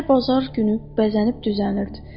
amma hər bazar günü bəzənib düzənirdi.